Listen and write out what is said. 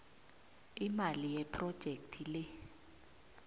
imali yephrojekhthi le